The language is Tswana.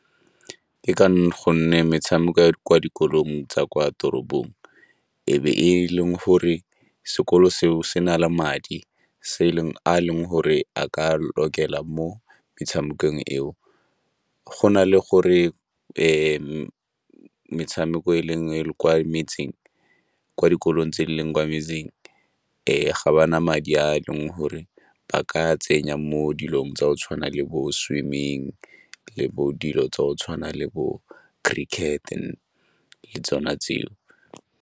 Ke ka gonne metshameko ya kwa dikolong tsa kwa toropong e be e leng gore sekolo seo se na le madi a a leng gore a ka a lokela mo metshamekong eo. Go na le gore metshameko e leng kwa metseng, kwa dikolong tse e leng kwa metseng ga ba na madi a le re ba ka tsenya mo dilong tsa go tshwana le bo-swimming le bo dilo tsa go tshwana le bo-cricket-e le tsona tseo.